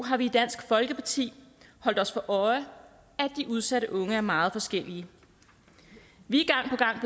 har vi i dansk folkeparti holdt os for øje at de udsatte unge er meget forskellige vi